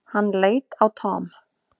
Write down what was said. Hann leit á Tom.